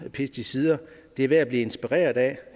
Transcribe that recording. pesticider er værd at blive inspireret af